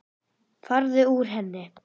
Farðu úr henni.